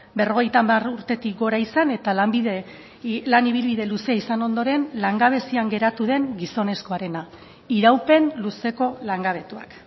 berrogeita hamar urtetik gora izan eta lan ibilbide luzea izan ondoren langabezian geratu den gizonezkoarena iraupen luzeko langabetuak